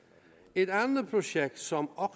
et andet projekt som